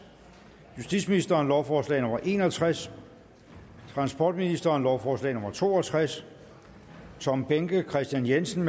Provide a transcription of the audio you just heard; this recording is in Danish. justitsministeren lovforslag nummer l en og tres transportministeren lovforslag nummer l to og tres tom behnke kristian jensen